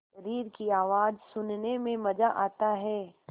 शरीर की आवाज़ सुनने में मज़ा आता है